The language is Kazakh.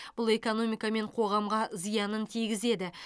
бұл экономика мен қоғамға зиянын тигізеді